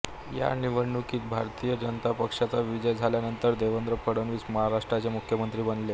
ह्या निवडणुकीत भारतीय जनता पक्षाचा विजय झाल्यानंतर देवेंद्र फडणवीस महाराष्ट्राचे मुख्यमंत्री बनले